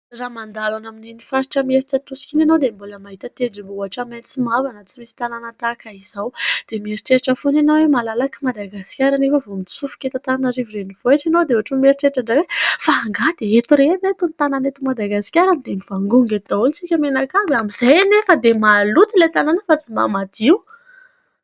Raha mandalo any amin'iny faritra Imerintsiatosika iny ianao dia mbola mahita tendrombohitra maitso mavana tsy misy tanàna tahaka izao ; dia mieritreritra foana ianao hoe malalaka i Madagasikara anefa vao mitsofoka eto Antananarivo renivohitra ianao dia ohatra mieritreritra indray fa angaha dia eto irery ireto ny tanàna eto Madagasikara no dia mivangongo eto daholo isika mianakavy amin'izay anefa dia maloto ilay tanàna fa tsy mba madio.